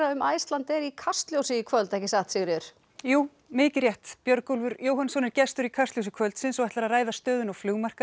um Icelandair í Kastljósi í kvöld ekki svo Sigríður jú mikið rétt Björgólfur Jóhannsson er gestur í Kastljósi kvöldsins og ætlar að ræða stöðuna á